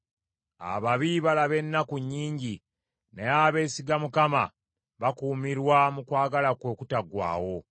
Ababi balaba ennaku nnyingi; naye abeesiga Mukama bakuumirwa mu kwagala kwe okutaggwaawo.